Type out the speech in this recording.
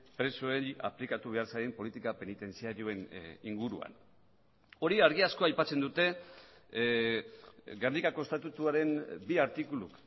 presoei aplikatu behar zaien politika penitentziarioen inguruan hori argi asko aipatzen dute gernikako estatutuaren bi artikulu